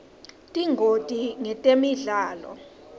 tingoti ngetemidlalo